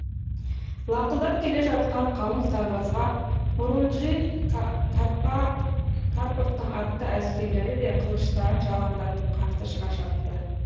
лақылдап келе жатқан қалың сарбазға хорунжий карповтың атты әскерлері де қылыштарын жалаңдатып қарсы шыға шапты